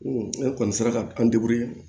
ne kɔni sera ka an